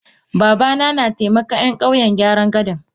Babana na taimakan Yan kauyen gyaran gadan.